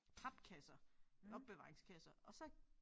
Papkasser opbevaringskasser og så